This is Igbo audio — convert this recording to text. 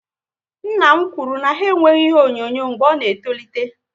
Nna m kwụrụ na ha enweghị ihe onyonyo mgbe ọ na etolite